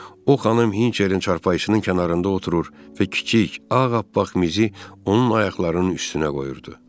O xanım Hinçerin çarpayısının kənarında oturur və kiçik, ağappaq mizi onun ayaqlarının üstünə qoyurdu.